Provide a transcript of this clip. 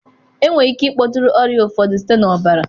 Enwere ike ịkpọtụrụ ọrịa ụfọdụ site na ọbara.